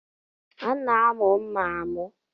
A na-amụ mma amụ